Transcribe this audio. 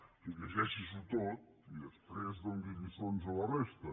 o sigui llegeixi s’ho tot i després doni lliçons a la resta